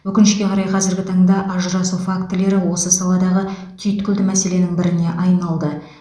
өкінішке қарай қазіргі таңда ажырасу фактілері осы саладағы түйткілді мәселенің біріне айналды